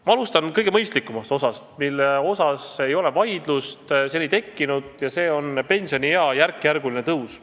Ma alustan kõige mõistlikumast osast, mille üle ei ole vaidlust tekkinud, ja see on pensioniea järkjärguline tõus.